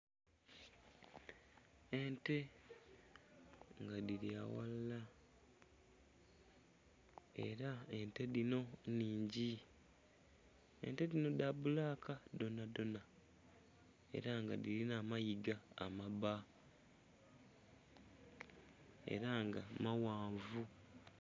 Ente nga dhili aghalala era ente dhino nnhingi, ente dhinho dha bulaka dhona dhona era nga dhilina amaiga amabba era nga maghanvu.